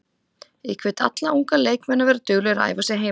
Ég hvet alla unga leikmenn að vera duglegir að æfa sig heima.